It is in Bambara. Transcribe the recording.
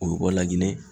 O bɛ bɔ laginɛ